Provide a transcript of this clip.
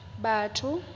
batho